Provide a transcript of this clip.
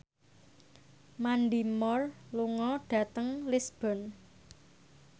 Mandy Moore lunga dhateng Lisburn